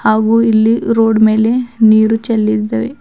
ಹಾಗೂ ಇಲ್ಲಿ ರೋಡ್ ಮೇಲೆ ನೀರು ಚೆಲ್ಲಿದವೆ.